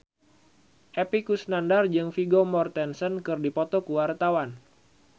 Epy Kusnandar jeung Vigo Mortensen keur dipoto ku wartawan